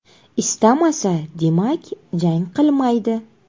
Istamasa, demak, jang qilmaydi.